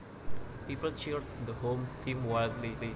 People cheered the home team wildly